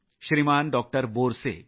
Shriman doctor Borse